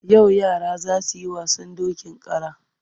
Yau yara za su yi wasan dokin kara.